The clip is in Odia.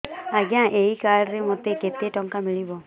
ଆଜ୍ଞା ଏଇ କାର୍ଡ ରେ ମୋତେ କେତେ ଟଙ୍କା ମିଳିବ